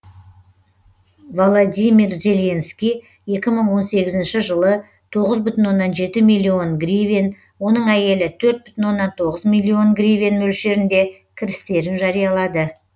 володимир зеленский екі мың он сегізінші жылы тоғыз бүтін оннан жеті миллион гривен оның әйелі төрт бүтін оннан тоғыз миллион гривен мөлшерінде кірістерін жариялады